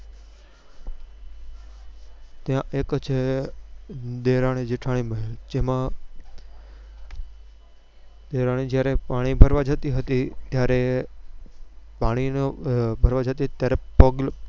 ત્યાં એક છે દેરાણી જેઠાણી મહેલ જેમાં દેરાણી જયારે પાણી ભરવા જતી હતી ત્યારે પાણી નો ભરવા જતી હતી ત્યારે પગ લપ